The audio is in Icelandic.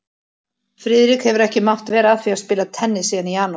Friðrik hefur ekki mátt vera að því að spila tennis síðan í janúar